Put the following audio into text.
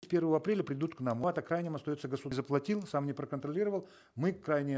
с первого апреля придут к нам крайним остается заплатил сам не проконтролировал мы крайние